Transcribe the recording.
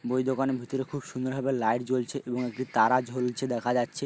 বই দোকানে ভিতর খুব সুন্দর ভাবে লাইট জ্বলছে এবং একটি তারা ঝুলছে দেখা যাচ্ছে।